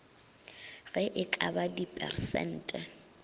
ge e ka ba dipersente